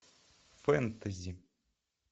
фэнтези